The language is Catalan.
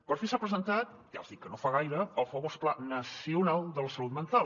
per fi s’ha presentat ja els dic que no fa gaire el famós pla nacional de la salut mental